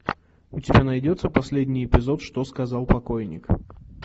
у тебя найдется последний эпизод что сказал покойник